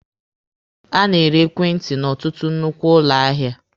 A na-ere ekwentị n'ọtụtụ nnukwu ụlọ ahịa.